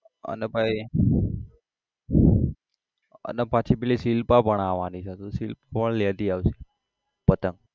અને પછી અને પછી પેલી શિલ્પા પણ આવાની છે તો શિલ્પા પણ લેતી આવશે પતંગ.